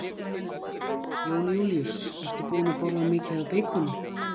Jón Júlíus: Ert þú búin að borða mikið af beikoni?